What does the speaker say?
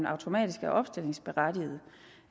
automatisk opstillingsberettiget